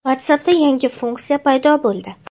WhatsApp’da yangi funksiya paydo bo‘ldi.